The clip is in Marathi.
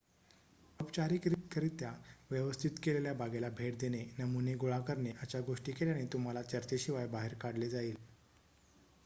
"औपचारिकरित्या व्यवस्थित केलेल्या बागेला भेट देणे "नमुने" गोळा करणे अशा गोष्टी केल्याने तुम्हाला चर्चेशिवाय बाहेर काढले जाईल.